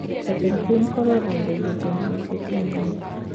Jatend pinykoro olando jotend migepe manyien